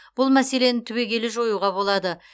бұл мәселені түбегейлі жоюға болады